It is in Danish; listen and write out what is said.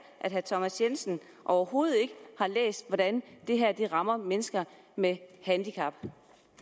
at herre thomas jensen overhovedet ikke har læst hvordan det her rammer mennesker med handicap